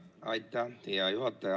Aitäh, hea juhataja!